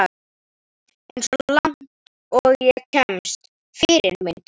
Eins og langt og ég kemst Fyrirmynd?